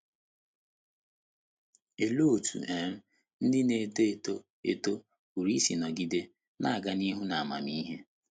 Olee otú um ndị na - eto eto eto pụrụ isi nọgide “ na - aga n’ihu n’amamihe ”?